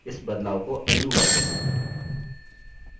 इस बदलाव को undo करते हैं